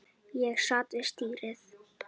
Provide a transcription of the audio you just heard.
Ég sat við stýrið.